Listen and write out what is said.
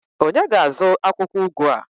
onye ga-azụ akwukwo ugu a?